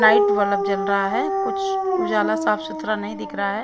Light bulb जल रहा है कुछ उजाला साफ सुथरा नहीं दिख रहा है।